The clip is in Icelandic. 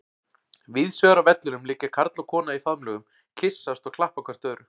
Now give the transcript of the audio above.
Víðsvegar á vellinum liggja karl og kona í faðmlögum, kyssast og klappa hvert öðru.